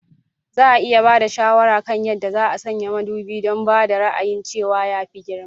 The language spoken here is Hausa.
Za a iya ba da shawara kan yadda za a sanya madubi don ba da ra'ayin cewa ya fi girma?